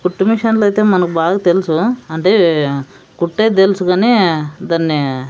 కుట్టు మిషన్లు అయితే మనకు బాగా తెలుసు అంటే కుట్టేది తెలుసు కానీ దాన్ని--